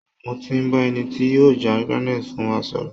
Mo ti bá eni tí yóò já granite fún wa sọ̀rọ̀